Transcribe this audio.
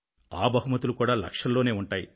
ఆ బహుమతులు కూడా లక్షల్లోనే ఉంటాయి